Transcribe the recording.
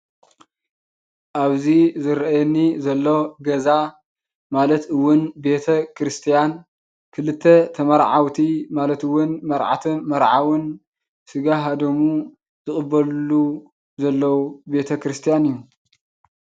እብዚ ዝረአየኒ ዘሎ ገዛ ማለት እውን ቤተ ክርስቲያን ክልተ ተማርዓውቲ ማለት እውን መርዓትን መርዓውን ስጋሃ ደሙ ዝቅበልሉ ዘለው ቤተ ክርስቲያን እዩ።